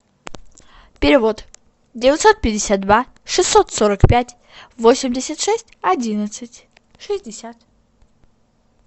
перевод девятьсот пятьдесят два шестьсот сорок пять восемьдесят шесть одиннадцать шестьдесят